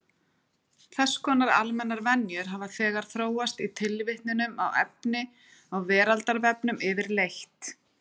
Þess konar almennar venjur hafa þegar þróast í tilvitnunum í efni á Veraldarvefnum yfirleitt.